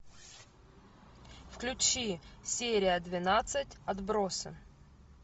включи серия двенадцать отбросы